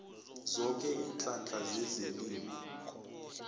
zoke iinhlahla zezelimo